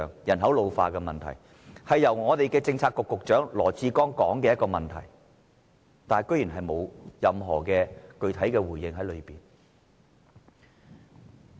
人口老化問題是政策局局長羅致光提出的，但他居然沒有就這方面作出任何具體回應。